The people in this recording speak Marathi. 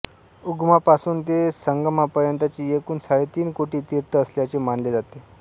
उगमापासून ते संगमापर्यंतची एकूण साडेतीन कोटी तीर्थं असल्याचे मानले जाते